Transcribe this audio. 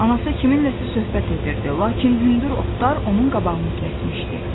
Anası kiminləsə söhbət edirdi, lakin hündür otlar onun qabağını kəsmişdi.